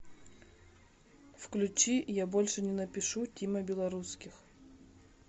включи я больше не напишу тима белорусских